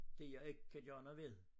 Det jeg ikke kan gøre noget ved